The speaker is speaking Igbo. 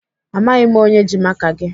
Amaghị m onye ji maka gị.